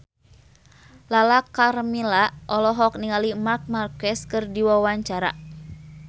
Lala Karmela olohok ningali Marc Marquez keur diwawancara